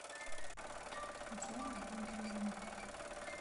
татьяны дмитриевны